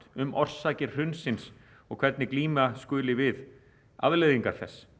um orsakir hrunsins og hvernig glíma skuli við afleiðingar þess